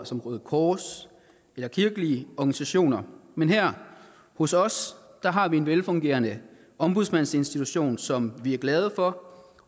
som røde kors eller kirkelige organisationer men her hos os har vi en velfungerende ombudsmandsinstitution som vi er glade for